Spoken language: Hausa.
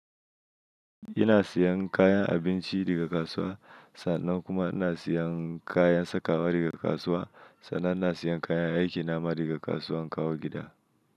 Ina siyan kayan abinci daga kasuwa, sannan kuma ina siyan kayan sakawa daga kasuwa, sannan ina siyan kayan aiki nama daga kasuwa in kawo gida.